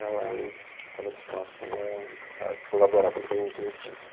ela estava disposta a, a colaborar para que eu o conhecesse.